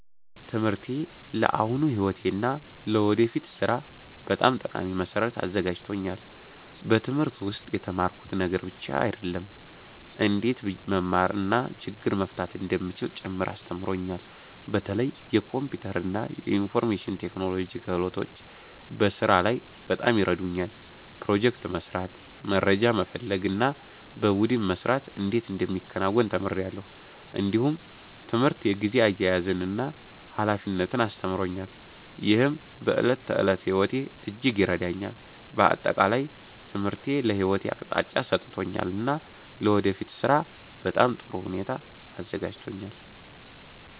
ትምህርቴ ለአሁኑ ሕይወቴ እና ለወደፊት ሥራ በጣም ጠቃሚ መሠረት አዘጋጅቶኛል። በትምህርት ውስጥ የተማርኩት ነገር ብቻ አይደለም፣ እንዴት መማር እና ችግር መፍታት እንደሚቻል ጭምር አስተምሮኛል። በተለይ የኮምፒውተር እና የኢንፎርሜሽን ቴክኖሎጂ ክህሎቶች በስራ ላይ በጣም ይረዱኛል። ፕሮጀክት መስራት፣ መረጃ መፈለግ እና በቡድን መስራት እንዴት እንደሚከናወን ተምሬአለሁ። እንዲሁም ትምህርት የጊዜ አያያዝን እና ኃላፊነትን አስተምሮኛል፣ ይህም በዕለት ተዕለት ሕይወቴ እጅግ ይረዳኛል። በአጠቃላይ ትምህርቴ ለሕይወቴ አቅጣጫ ሰጥቶኛል እና ለወደፊት ሥራ በጥሩ ሁኔታ አዘጋጅቶኛል።